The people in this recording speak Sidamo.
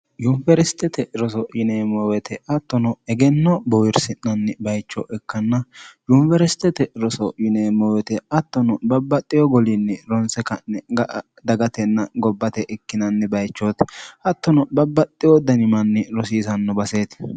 yunibersitete roso yineemmoowete attono egenno bowirsi'nanni bayicho ikkanna yuniwersitete roso yineemmoowete attono babbaxxiyo goliinni ronse ka'ni ga'a dagatenna gobbate ikkinanni bayichooti hattono babbaxxiyo danimanni rosiisanno baseeti